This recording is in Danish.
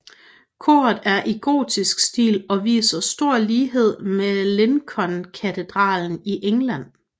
Koret er i gotisk stil og viser stor lighed med Lincolnkatedralen i England